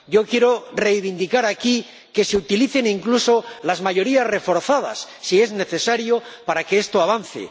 Yo quiero reivindicar aquí que se utilicen incluso las mayorías reforzadas —si es necesario— para que esto avance.